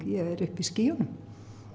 ég er uppi í skýjunum